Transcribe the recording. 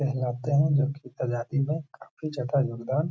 कहलाते हैं जो कि काफी ज़्यादा योगदान --